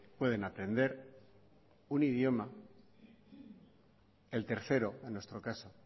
pueden aprender un idioma el tercero en nuestro caso